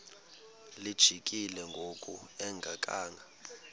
lijikile ngoku engakhanga